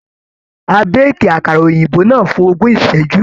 A béèkì àkàrà òyìnbó náà fún ogún ìṣẹ́jú.